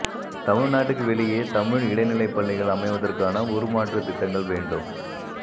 தமிழ் நாட்டுக்கு வெளியே தமிழ் இடைநிலை பள்ளிகள் அமைவதற்கான உருமாற்று திட்டங்கள் வேண்டும்